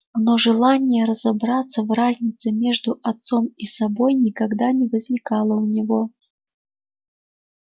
но желания разобраться в разнице между отцом и собой никогда не возникало у него